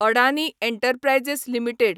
Adani enterprises limited